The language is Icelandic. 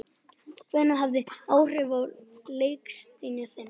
Hver hafði áhrif á leikstíl þinn?